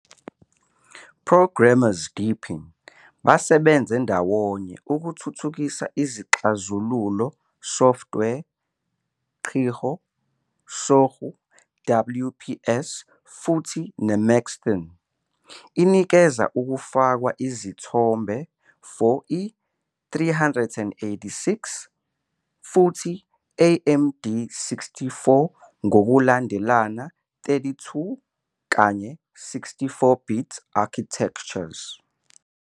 Programmers deepin basebenze ndawonye ukuthuthukisa izixazululo software Qihoo, Sogou, WPS futhi Maxthon. Inikeza ukufakwa izithombe for i386 futhi AMD64, ngokulandelana 32 kanye 64-bit architectures.